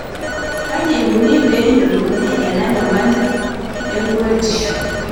Kaji eikoni pee eyiolouni ena nyamali e enkuretisho.